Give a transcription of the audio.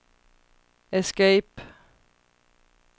escape